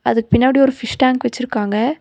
அதுக்கு பின்னாடி ஒரு பிஷ் டேங்க் வச்சுருக்காங்க.